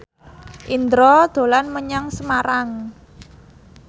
Indro dolan menyang Semarang